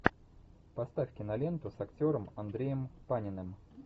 поставь киноленту с актером андреем паниным